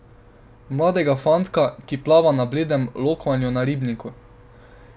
Mladega fantka, ki plava na bledem lokvanju na ribniku.